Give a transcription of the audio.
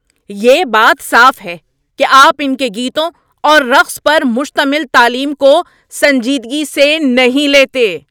یہ بات صاف ہے کہ آپ ان کے گیتوں اور رقص پر مشتمل تعلیم کو سنجیدگی سے نہیں لیتے۔